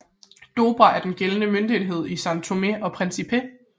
Dobra er den gældende møntenhed i São Tomé og Príncipe